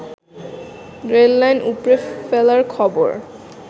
rail line উপড়ে ফেলার খবর